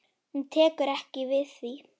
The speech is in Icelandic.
Hún tekur ekki við því.